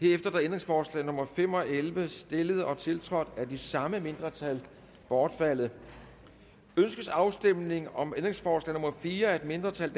er ændringsforslag nummer fem og elleve stillet og tiltrådt af de samme mindretal bortfaldet ønskes afstemning om ændringsforslag nummer fire af et mindretal